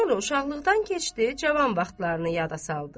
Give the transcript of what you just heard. Sonra uşaqlıqdan keçdi, cavan vaxtlarını yada saldı.